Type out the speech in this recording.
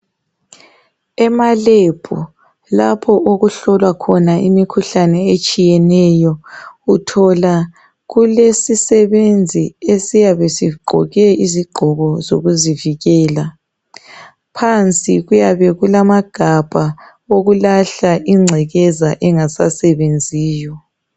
Emalebhu lapho okuhlolwa khona imikhuhlane etshiyeneyo uthola kulesisebenzi esiyabe sigqoke izigqoko zokuzivikela. Phansi kulamagabha okulahla ingcekeza engasasebenziyo.